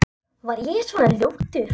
Var ég svona ljótur?